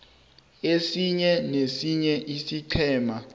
esinye nesinye isiqhema